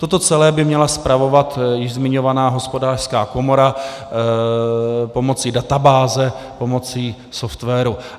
Toto celé by měla spravovat již zmiňovaná Hospodářská komora pomocí databáze, pomocí softwaru.